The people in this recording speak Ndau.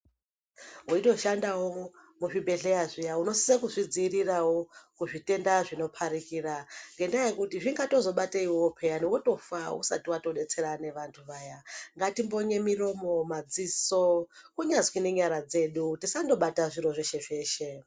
Weitoshandawo muzvibhedhleya zviya unosisa kuzvidzivirira kuzvitenda zvinoparikira ngendaa yekuti zvingatozobata iwowe pheyan wotozofa usati watodetsera nevanthu vaya ngatimbonye miromo, madziso kunyazi nenyara dzedu tisandobata zviro zveshe zveshe.